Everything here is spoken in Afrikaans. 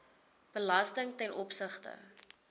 belasting ten opsigte